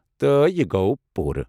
تہٕ یہِ گوٚو پوٗرٕ؟